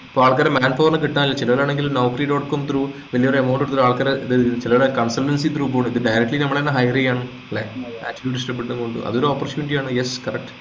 ആൾക്കാരെ man power നെ കിട്ടാനില്ല ചിലരാണെങ്കിൽ Noukri. com through വലിയൊരു Amount എടുത്തിട്ട് ആൾക്കാരെ ചിലവര് consultancy through പോണത് directly നമ്മളെ hire ചെയ്യാന് ല്ലേ അതൊരു opportunity യാണ് yes correct